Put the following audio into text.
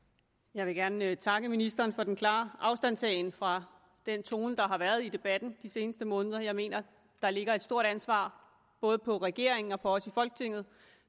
jeg vil gerne takke ministeren for den klare afstandtagen fra den tone der har været i debatten de seneste måneder jeg mener der ligger et stort ansvar både på regeringen og på os i folketinget